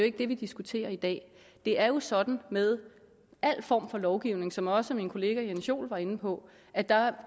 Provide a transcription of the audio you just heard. ikke det vi diskuterer i dag det er jo sådan med al form for lovgivning som også min kollega herre jens joel var inde på at der